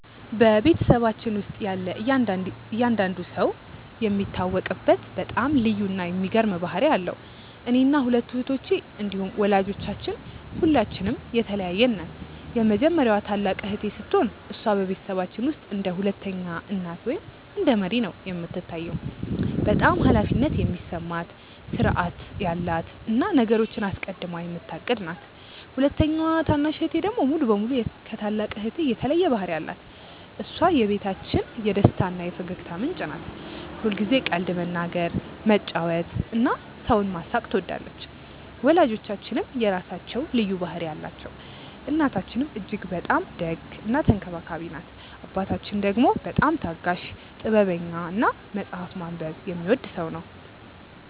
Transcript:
በቤተሰባችን ውስጥ ያለ እያንዳንዱ ሰው የሚታወቅበት በጣም ልዩ እና የሚገርም ባህሪ አለው። እኔና ሁለቱ እህቶቼ እንዲሁም ወላጆቻችን ሁላችንም የተለያየን ነን። የመጀመሪያዋ ታላቅ እህቴ ስትሆን፣ እሷ በቤተሰባችን ውስጥ እንደ ሁለተኛ እናት ወይም እንደ መሪ ነው የምትታየው። በጣም ኃላፊነት የሚሰማት፣ ሥርዓታማ እና ነገሮችን አስቀድማ የምታቅድ ናት። ሁለተኛዋ ታናሽ እህቴ ደግሞ ሙሉ በሙሉ ከታላቅ እህቴ የተለየ ባህሪ አላት። እሷ የቤታችን የደስታ እና የፈገግታ ምንጭ ናት። ሁልጊዜ ቀልድ መናገር፣ መጫወት እና ሰውን ማሳቅ ትወዳለች። ወላጆቻችንም የራሳቸው ልዩ ባህሪ አላቸው። እናታችን እጅግ በጣም ደግ እና ተንከባካቢ ናት። አባታችን ደግሞ በጣም ታጋሽ፣ ጥበበኛ እና መጽሐፍ ማንበብ የሚወድ ሰው ነው።